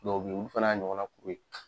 Dɔw bɛ ye ulu fana y'a ɲɔgɔn na kuru ye.